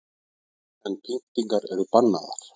En pyntingar eru bannaðar